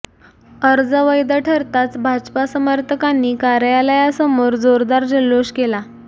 अर्ज वैध ठरताच भाजपा समर्थकांनी कार्यालयासमोर जोरदार जल्लोष केला